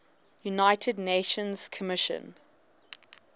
united nations commission